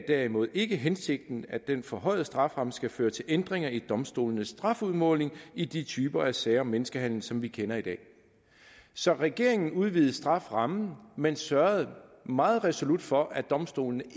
derimod ikke er hensigten at den forhøjede strafferamme skal føre til ændringer i domstolenes strafudmåling i de typer af sager om menneskehandel som vi kender i dag så regeringen udvidede strafferammen men sørgede meget resolut for at domstolene